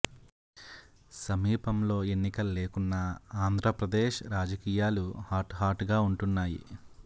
సమీపంలో ఎన్నికలు లేకున్నా ఆంధ్రప్రదేశ్ రాజకీయాలు హాట్ హాట్ గా ఉంటున్నాయి